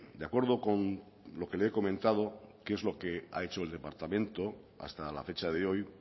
de acuerdo con lo que le he comentado qué es lo que ha hecho el departamento hasta la fecha de hoy